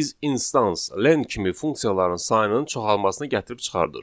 is, instance, len kimi funksiyaların sayının çoxalmasına gətirib çıxardır.